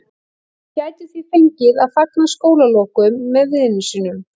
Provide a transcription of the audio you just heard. Hann gæti því fengið að fagna skólalokum með vinum sínum.